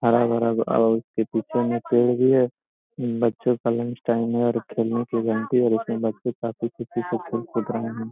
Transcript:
हरा-भरा और इसके पीछे में पेड़ भी है बच्चो का लंच टाइम है और खेलने की घंटी और उसमे बच्चे काफी खुशी से खेल कूद रहे है।